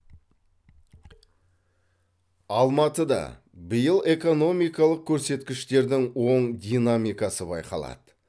алматыда биыл экономикалық көрсеткіштердің оң динамикасы байқалады